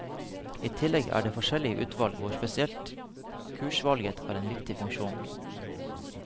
I tillegg er det forskjellige utvalg hvor spesielt kursutvalget har en viktig funksjon.